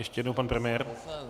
Ještě jednou pan premiér.